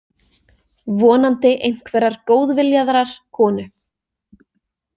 Vonandi einhverrar góðviljaðrar konu.